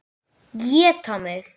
Éta mig.